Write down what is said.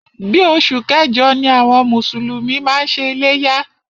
Bí oṣù kẹjọ ni àwọn mùsùlùmí máa ń ṣe iléyá.